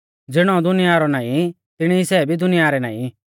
ज़िणौ हाऊं दुनिया रौ नाईं तिणी सै भी दुनिया रै नाईं